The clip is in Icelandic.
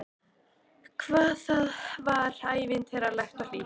Hvað það var ævintýralegt og hlýtt.